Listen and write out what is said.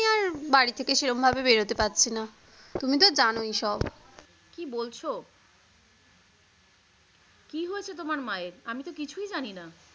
বাড়ি থেকে সেরম ভাবে বেরোতে পারছি না তুমি তো জানই সব। কি বলছ কি হয়েছে তোমার মায়ের আমি তো কিছুই জানিনা।